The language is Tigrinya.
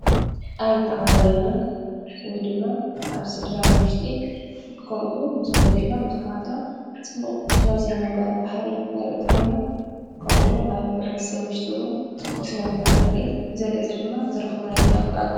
ኣብ ትዓማብያና ወይ ድማ ኣብ ስድራናዊሽጢ ከምኡውን ምስ ወለንዲና ምሳኻትና ጽቡቕ ናይ ስነምጓር ባህሪ ነርኢ ተኾንና ከምኡውን ኣብ ኅብረት ሰ ውሽጡውን ጽቡቕ ስነምጓር ነርኢ ብዘለጸ ድማ ዘረኸውናይ ኣብኣጓ